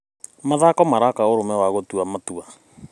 Mathako maraka ũrũme na gũtua maua.